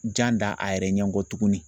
Jan da a yɛrɛ ɲɛ kɔ tuguni